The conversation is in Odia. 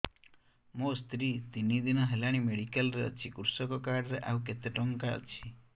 ମୋ ସ୍ତ୍ରୀ ତିନି ଦିନ ହେଲାଣି ମେଡିକାଲ ରେ ଅଛି କୃଷକ କାର୍ଡ ରେ ଆଉ କେତେ ଟଙ୍କା ଅଛି